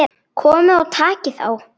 Komiði og takið þá!